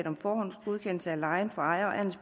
om forhåndsgodkendelse af lejen for ejer